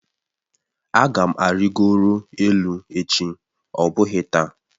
Aga m arịgoro elu echi ọ bụghị taa